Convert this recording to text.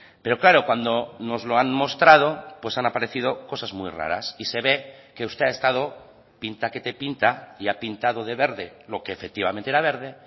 pero claro cuando nos lo han mostrado pues han aparecido cosas muy raras y se ve que usted ha estado pinta que te pinta y ha pintado de verde lo que efectivamente era verde